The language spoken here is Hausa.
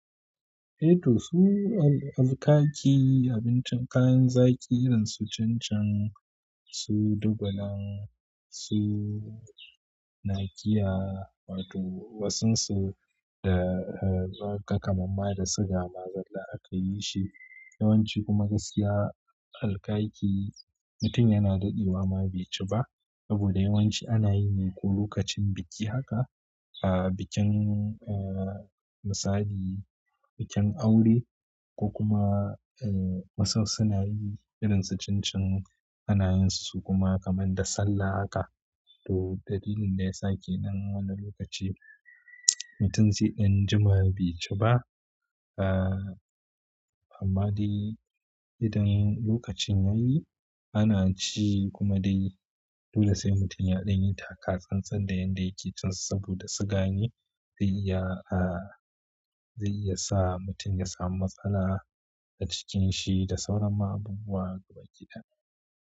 Eh to su al-alkaki abincin kayan zaki irin su cincin, su dubulan, su nakiya wato wasun su da eh zaka kamamma da siga ma zalla akayi shi. Yawanci kuma gaskiya alkaki mutum yana daɗewa ma bai ci ba. Saboda yawanci ana yi ne ko lokacin biki haka, ah bikin eh misali bikin aure ko kuma eh wasun suna yin irin su cincin anayin su kuma kamar da sallah haka. To dalilin da ya sake nan wani lokaci mutum zai ɗan juma bai ci ba. Ah amma dai idan lokacin yayi ana ci kuma dai. Dole sai mutum ya ɗanyi taka tsan-tsan da yanda yake cin sa saboda siga ne zai iya ah zai iya sa mutum ya samu matsala a cikin shi da sauran ma abubuwa gabaki ɗaya.